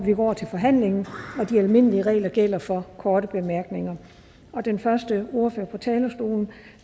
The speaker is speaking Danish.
over til forhandlingen og de almindelige regler gælder for korte bemærkninger den første ordfører på talerstolen